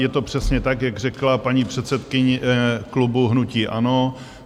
Je to přesně tak, jak řekla paní předsedkyně klubu hnutí ANO.